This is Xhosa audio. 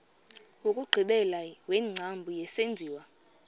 wokugqibela wengcambu yesenziwa